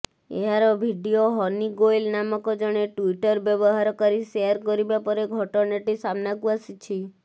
ଏହାର ଭିଡିଓ ହନି ଗୋଏଲ ନାମକ ଜଣେ ଟୁଇଟର ବ୍ୟବହାରକାରୀ ସେୟାର କରିବା ପରେ ଘଟଣାଟି ସାମ୍ନାକୁ ଆସିଛି